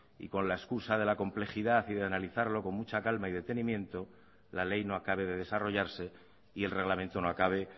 y con la escusa de la complejidad y de analizarlo con mucha calma y detenimiento la ley no acabe de desarrollarse y el reglamento no acabe